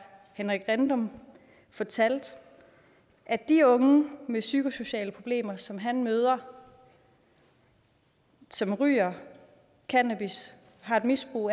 henrik rindom fortalte at de unge med psykosociale problemer som han møder som ryger cannabis har et misbrug